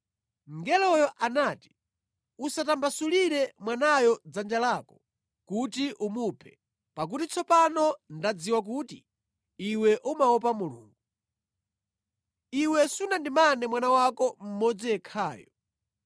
Mngeloyo anati, “Usatambasulire mwanayo dzanja lako kuti umuphe, pakuti tsopano ndadziwa kuti iwe umaopa Mulungu. Iwe sunandimane mwana wako mmodzi yekhayo.”